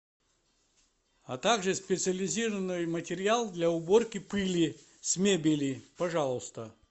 а так же специализированный материал для уборки пыли с мебели пожалуйста